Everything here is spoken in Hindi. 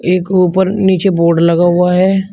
एक ऊपर नीचे बोड लगा हुआ है।